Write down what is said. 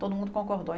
Todo mundo concordou.